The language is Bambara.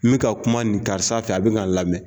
N bɛ ka kuma nin karisa fɛ a bɛ kan a lamɛn